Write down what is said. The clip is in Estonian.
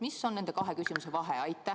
Mis on nende kahe küsimuse vahe?